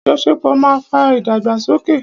Àjọṣepọ̀ ma ń fa ìdàgbàsókè.